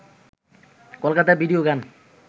Kolkata video গান